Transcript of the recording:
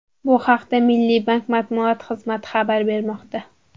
Bu haqda Milliy bank matbuot xizmati xabar bermoqda .